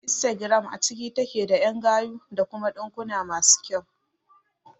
Instagram a cike take da ƴan gayu da kuma ɗinkuna masu kyau